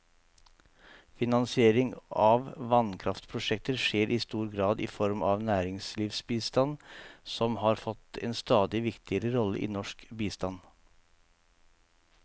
Finansiering av vannkraftprosjekter skjer i stor grad i form av næringslivsbistand, som har fått en stadig viktigere rolle i norsk bistand.